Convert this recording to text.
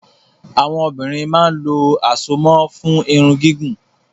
Àwọn obìnrin máa ń lo àsomọ́ fún Irun gígùn